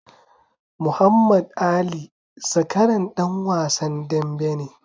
Muhammad Ali zakaran ɗan wasan dambe ne.